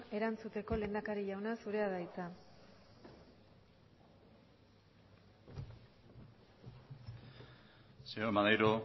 erantzuteko lehendakari jauna zurea da hitza señor maneiro